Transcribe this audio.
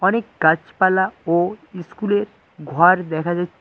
অনেক গাছপালা ও ইস্কুলের ঘর দেখা যাই--